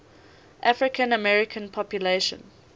african american population